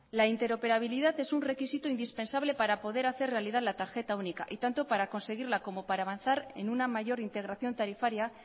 la interoperabilidad es un requisito indispensable para poder hacer realidad la tarjeta única y tanto para conseguirla como para avanzar en una mayor integración tarifaria